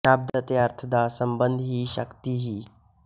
ਸ਼ਬਦ ਅਤੇ ਅਰਥ ਦਾ ਸੰਬੰਧ ਹੀ ਸ਼ਕਤੀ ਹੀ